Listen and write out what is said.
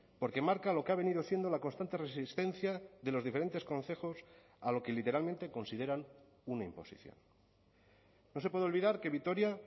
porque marca lo que ha venido siendo la constante resistencia de los diferentes concejos a lo que literalmente consideran una imposición no se puede olvidar que vitoria